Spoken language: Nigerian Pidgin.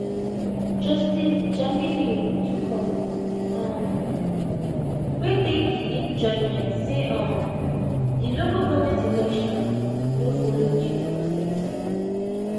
justice jamilu tukur um wey take di lead judgement say um di local goment election no follow due process